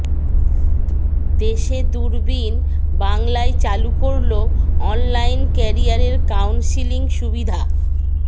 দেশে দূরবীণ বাংলায় চালু করল অনলাইন ক্যারিয়ার কাউন্সেলিং সুবিধা